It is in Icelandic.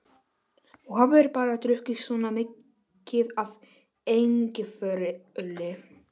Þú hafir bara drukkið svona mikið af engiferöli.